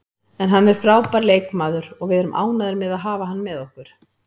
En hann er frábær leikmaður og við erum ánægðir með að hafa hann með okkur.